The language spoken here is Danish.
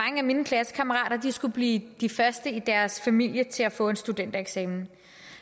af mine klassekammerater skulle blive de første i deres familier til at få en studentereksamen